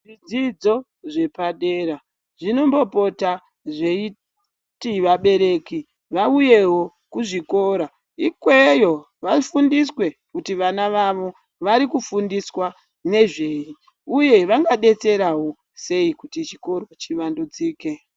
Zvidzidzo zvepadera zvinombopota zveiti vabereki vauyewo kuzvikora ikweyo vafundiswe kuti vana vavo vari kufundiswa nezvei uye vangadetserawo sei kuti chikoro chivandudzike .